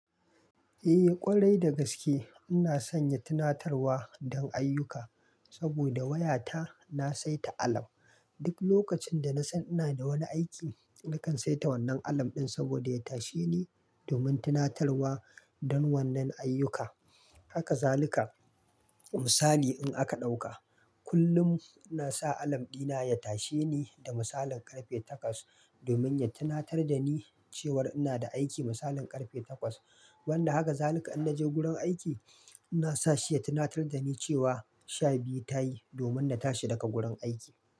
Eh ƙwarai da gaske. Ina sanya tunatarwa don ayyuka saboda wayata na saita alam. Duk lokacin da na san ina da wani aiki, nakan saita wannan alam ɗin saboda ya tashe ni domin tunatarwa don wannan ayyuka. Haka zaluka misali in aka ɗauka, kullum na sa alam ɗina ya tashe ni da misalin ƙarfe takwas domin ya tunatar da ni cewar ina da aiki misalin ƙarfe takwas. Wanda haka zaluka in naje gurin aiki, ina sa shi ya tunatar da ni cewa sha biyu ta yi domin na tashi daga gurin aiki.